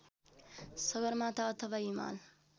सगरमाथा अथवा हिमाल